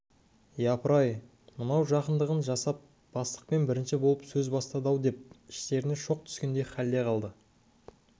япыр-ай мынау жақындығын жасап бастықпен бірінші болып сөз бастады-ау деп іштеріне шоқ түскендей халде қалды